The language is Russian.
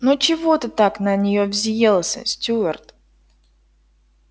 ну чего ты так на нее взъелся стюарт